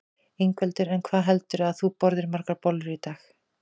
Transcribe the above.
Ingveldur: En hvað heldurðu að þú borðir margar bollur í dag?